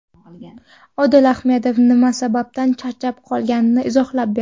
Odil Ahmedov nima sababdan charchab qolganini izohlab berdi.